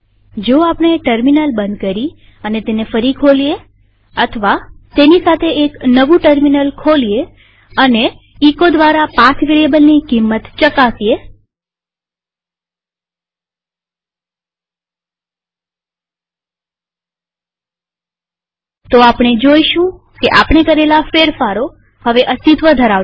જો આપણે ટર્મિનલ બંધ કરી અને તેને ફરી ખોલીએ અથવા તેની સાથે એક નવું ટર્મિનલ ખોલીએ અને એચો દ્વારા પાથ વેરીએબલની કિંમત ચકાસીએ તો આપણે જોઈશું કે આપણે કરેલા ફેરફારો હવે અસ્તિત્વ ધરાવતા નથી